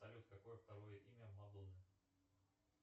салют какое второе имя мадонны